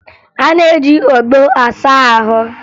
A na-eji ogbo asa ahụ